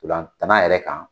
Ntolantan na yɛrɛ kan